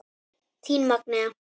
Þín Magnea.